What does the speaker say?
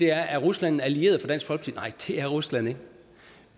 er rusland en allieret for dansk folkeparti er rusland ikke